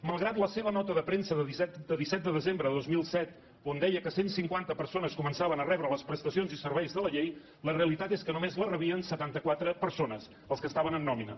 malgrat la seva nota de premsa de disset de desembre de dos mil set on deia que cent i cinquanta persones començaven a rebre les prestacions i serveis de la llei la realitat és que només la rebien setanta quatre persones els que estaven en nòmina